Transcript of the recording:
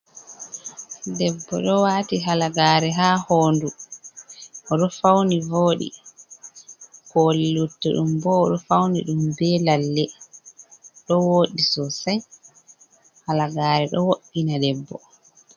Debbo ɗo wati halagare ha honɗu odo fauni vodi koli lutta ɗum ɓo odo fauni ɗum be lalle ɗo wodi sosai halagare ɗo woɗɗina debbo.